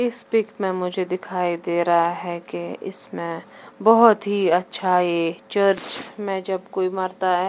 इस पिक में मुझे दिखाई दे रहा है की इसमें बहोत ही अच्छा ये चर्च में जब कोई मरता है ।